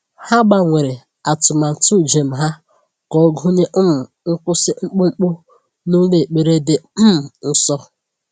Ha gbanwere atụmatụ njem ha ka ọ gụnye um nkwụsị mkpụmkpụ n'ụlọ ekpere dị um nsọ.